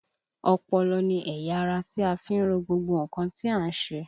Ọpọlọ ni ẹ̀yà ara tí a fi ń ro gbogbo nǹkan tí à ń ṣe